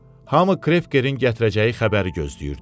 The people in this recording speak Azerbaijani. Hamı Krevkerin gətirəcəyi xəbəri gözləyirdi.